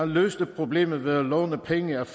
løste problemet ved at låne penge af